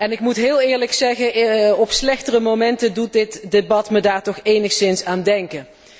Ik moet heel eerlijk zeggen op slechtere momenten doet dit debat me daar toch enigszins aan denken.